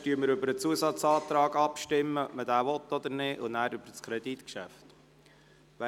Zuerst stimmen wir über den Abänderungsantrag der BaK ab.